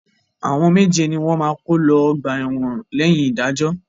Àwọn méje ni wọ́n máa kó lọ ọgbà ẹ̀wọ̀n lẹ́yìn ìdájọ́.